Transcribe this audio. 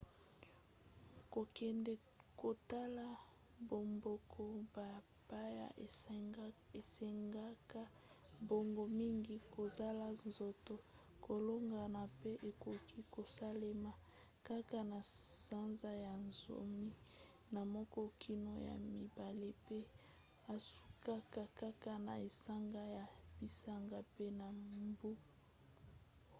kokende kotala bamboka bapaya esengaka mbongo mingi kozala nzoto kolongono pe ekoki kosalema kaka na sanza ya zomi na moko kino ya mibale pe esukaka kaka na esanga na bisanga pe na mbu ross